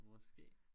Måske